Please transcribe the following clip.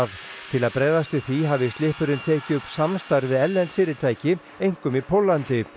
til að bregðast við því hafi Slippurinn tekið upp samstarf við erlend fyrirtæki einkum í Póllandi